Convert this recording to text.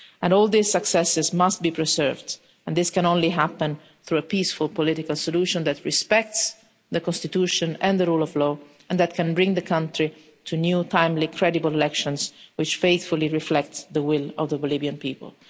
All these successes must be preserved, and this can only happen through a peaceful, political solution that respects the Constitution and the rule of law and that can bring the country to new, timely credible elections which faithfully reflect the will of the Bolivian people.